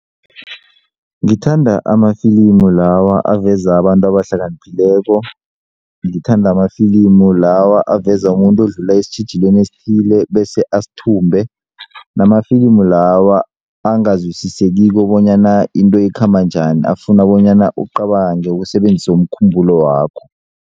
Ngithanda amafilimu lawa aveza abantu abahlakaniphileko, ngithanda amafilimu lawa aveza umuntu odlula esitjhijilweni esithile bese asithumbe namafilimu lawa angazwisisekiko bonyana into ikhamba njani afuna bonyana ucabange usebenzise umkhumbulo wakho.